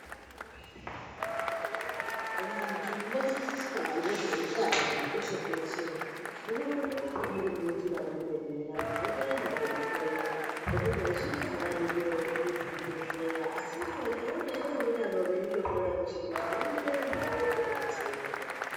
Vantu vodzidziswa ngezveutano peshe-peshe hunokona munokona kunga muri munjira memene vantu voenda veihloiwa. Ngekuti vazhinji havadi kuende kuzvibhedhleya, asi akaona veutano veindohloya peshe-peshe vanoendavo voto betsereka vo.